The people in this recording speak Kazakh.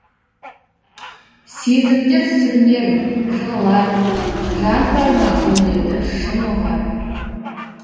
сезімдер сүрінер жығылар жан бар ма гүлдерді шын ұғар